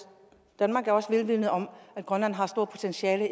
danmark også er vidende om at grønland har et stort potentiale